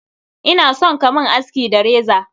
Ina son ka mun aski da reza.